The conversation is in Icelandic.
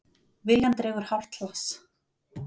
Viljann dregur hálft hlass.